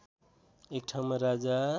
एक ठाउँमा राजा